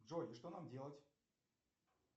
джой и что нам делать